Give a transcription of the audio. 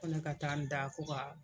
Ko ne ka taa n da ko ka